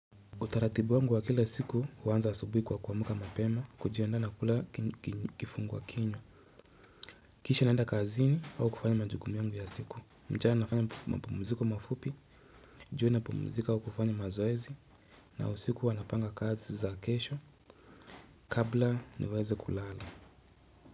Utaratibu wangu wa kila siku huanza asubuhi kwa kuamka mapema, kujiandaa na kula kifungua kinyo Kisha naenda kazini au kufanya majukumu yangu ya siku, mchana nafanya mapumziko mafupi, jioni napumzika au kufanya mazoezi na usiku huwa napanga kazi za kesho kabla niweze kulala.